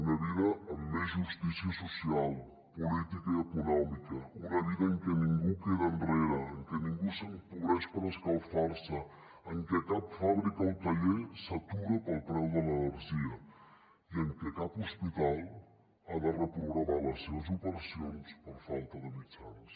una vida amb més justícia social política i econòmica una vida en què ningú queda enrere en què ningú s’empobreix per escalfar se en què cap fàbrica o taller s’atura pel preu de l’energia i en què cap hospital ha de reprogramar les seves operacions per falta de mitjans